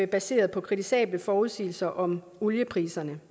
baseret på kritisable forudsigelser om oliepriserne